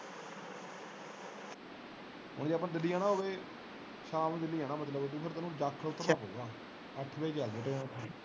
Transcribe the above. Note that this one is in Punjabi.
ਹੁਣ ਜੇ ਅੱਪਾ ਦਿੱਲੀ ਜਾਣਾ ਹੋਵੇ ਸ਼ਾਮ ਨੂੰ ਦਿੱਲੀ ਜਾਂ ਮਤਲਬ ਤੇ ਫੇਰ ਤੈਨੂੰ ਜਾਖਲ ਉਤਰਨਾ ਪਾਊਗਾ ਅੱਠ ਵਜੇ ਚਲਦੀ train ਓਥੋਂ।